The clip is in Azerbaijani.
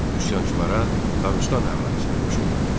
Üsyançılara Dağıstan əhalisi də qoşuldu.